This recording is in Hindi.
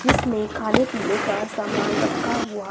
जिसमें खाने पीने का सामान रखा हुआ--